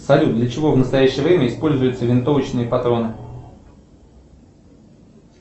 салют для чего в настоящее время используются винтовочные патроны